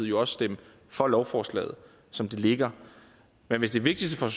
jo også stemme for lovforslaget som det ligger men hvis det vigtigste for